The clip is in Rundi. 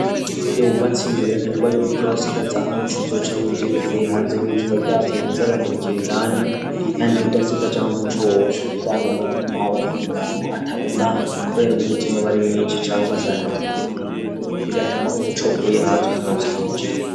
Iyo wubatse inzu birekanerwa y'uko uza urasigaza aho muco uzoca winjirira uvuye hanze nk'izuba ryaste rikaza riramurikira indani kandi udasigaja aho umuco woca uca usanga nuko hoba ku murango hatabona kubera umwijima aba mwishi cangwa ugasanga inzu niniya bigatuma umuco uvuye hanze utarose aho winjirira.